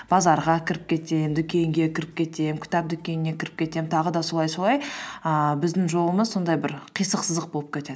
базарға кіріп кетемін дүкенге кіріп кетемін кітап дүкеніне кіріп кетемін тағы да солай солай ііі біздің жолымыз сондай бір қисық сызық болып кетеді